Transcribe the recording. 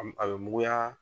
A m , a be muguya